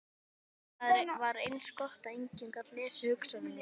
Það var eins gott að enginn gat lesið hugsanir mínar.